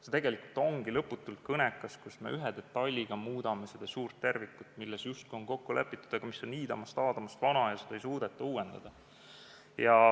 See tegelikult ongi lõputult kõnekas, kui me ühe detailiga muudame suurt tervikut, milles justkui on kokku lepitud, aga mis on iidamast-aadamast ja seda ei suudeta uuendada.